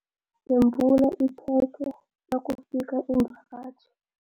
Yembula ikhekhe nakufika iimvakatjhi.